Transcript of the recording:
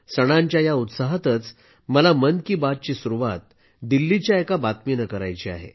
सणांच्या या उत्साहातच मला मन की बातची सुरुवात दिल्लीच्या एका बातमीनं करायची आहे